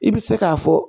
I bɛ se k'a fɔ